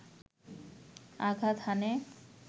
আঘাত হানে